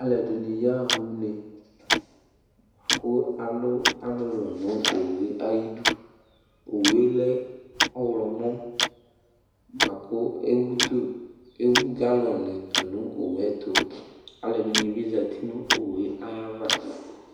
Aluɛdini yaɣa une la ku alu ɔlulu du nu owue ayidu owu lɛ ɔɣlomɔ laku ewu galɔni tu nu owuɛtu aluɛdini bi azati nu owu ayava